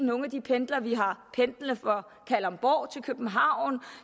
nogle af de pendlere vi har pendlende fra kalundborg til københavn og